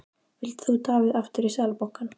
Vilt þú Davíð aftur í Seðlabankann?